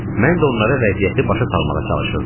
Mən də onlara vəziyyəti başa salmağa çalışırdım.